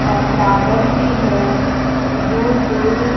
और टावर भी है दूर दूर--